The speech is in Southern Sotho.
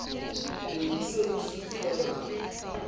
be di se di sutelwa